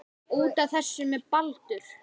Út af. þessu með Baldur?